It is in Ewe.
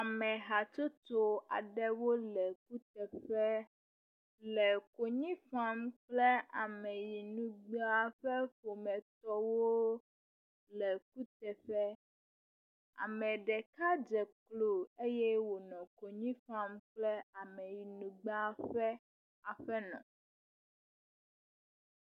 Ame hatsotso aɖewo le kuteƒe le konyi fam kple ameyinugbea ƒe ƒometɔwo le kuteƒe. Ame ɖeka dze klo eye wònɔ konyi fam kple ameyinugbea ƒe aƒenɔ.